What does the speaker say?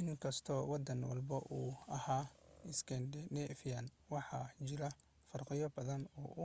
inkastoo waddan walba uu ahaa 'iskandaneefiyaan',waxaa jiray farqiyo badan oo u